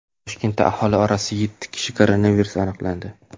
Toshkentda aholi orasida yetti kishida koronavirus aniqlandi.